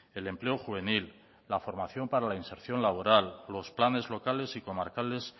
el empleo juvenil la formación para la inserción laboral los planes locales y comarcales